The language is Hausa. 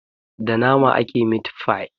Da nama ake mit-fai.